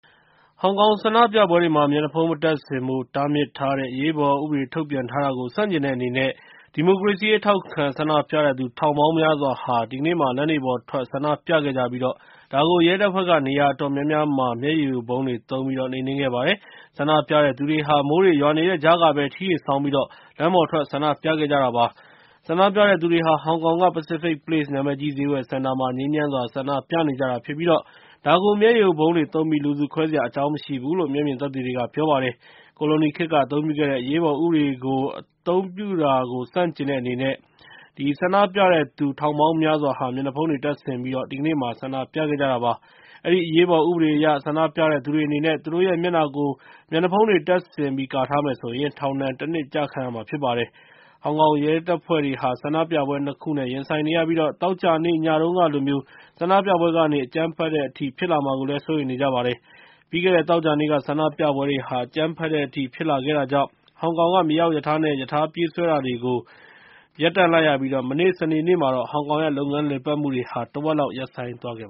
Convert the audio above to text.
ဟောင်ကောင်မှာ မျက်နှာဖုံးမတပ်ဆင်ဖို့ တားမြစ်ထားတဲ့ အရေးပေါ်ဥပဒေ ထုတ်ပြန်ထားတာကို ဆန့်ကျင်တဲ့အနေနဲ့ ဒီမိုကရေစီရေး ထောက်ခံဆန္ဒပြတဲ့သူ ထောင်ပေါင်းများစွာဟာ လမ်းတွေပေါ်ထွက် ဆန္ဒပြခဲ့ကြပြီး ဒါကို ရဲတပ်ဖွဲ့က နေရာအတော်များများမှာ မျက်ရည်ယိုဗုံးတွေသုံးပြီး နှိမ်နင်းခဲ့ပါတယ်။ ဆန္ဒပြတဲ့သူတွေဟာ မိုးတွေရွာနေတဲ့ကြားကပဲ ထီးတွေဆောင်းပြီးတော့ လမ်းပေါ်ထွက် ဆန္ဒပြခဲ့ကြတာပါ။ ဆန္ဒပြတဲ့သူတွေဟာ ဟောင်ကောင်က Pacific Place နာမည်ကြီး ဈေးဝယ်စင်တာမှာ ငြိမ်းချမ်းစွာ ဆန္ဒပြနေကြတာဖြစ်ပြီး ဒါကို မျက်ရည်ယိုဗုံးတွေသုံးပြီး လူစုခွဲစရာ အကြောင်း မရှိဘူးလို့ မျက်မြင်သက်သေတွေက ပြောပါတယ်။ ကိုလိုနီခေတ်က အသုံးပြုခဲ့တဲ့ အရေးပေါ်ဥပဒေကို အသုံးပြုခဲ့တာကို ဆန့်ကျင်တဲ့အနေနဲ့ ဆန္ဒပြတဲ့သူ ထောင်ပေါင်းများစွာဟာ မျက်နှာဖုံးတွေတပ်ဆင်ပြီး ဆန္ဒပြခဲ့ကြတာ ဖြစ်ပါတယ်။ အဲဒီ အရေးပေါ်ဥပဒေအရ ဆန္ဒပြတဲ့သူတွေအနေနဲ့ သူတို့ရဲ့မျက်နှာကို မျက်နှာဖုံးတွေ တပ်ဆင်ပြီး ကာထားမယ်ဆိုရင် ထောင်ဒဏ် ၁ နှစ် ကျခံရမှာဖြစ်ပါတယ်။ ဟောင်ကောင်ရဲတပ်ဖွဲ့တွေဟာ ဆန္ဒပြပွဲကြီး ၂ ခုနဲ့ ရင်ဆိုင်နေရပြီး သောကြာနေ့ ညတုန်းကလိုမျိုး ဆန္ဒပြပွဲတွေကနေ အကြမ်းဖက်တဲ့အထိ ဖြစ်လာမှာကို စိုးရိမ်နေကြပါတယ်။ ပြီးခဲ့တဲ့ သောကြာနေ့က ဆန္ဒပြပွဲတွေဟာ အကြမ်းဖက်တဲ့အထိ ဖြစ်ခဲ့တာကြောင့် ဟောင်ကောင်က မြေအောက်ရထားနဲ့ ရထားပြေးဆွဲတာတွေကို ရပ်တန့်လိုက်ရပြီး မနေ့ စနေနေ့မှာတော့ ဟောင်ကောင်ရဲ့ လုပ်ငန်းလည်ပတ်မှုတွေဟာ တဝက်လောက်ကို ရပ်ဆိုင်းသွားခဲ့